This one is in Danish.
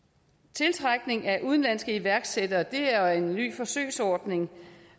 tiltrækning af udenlandsk iværksættere er en ny forsøgsordning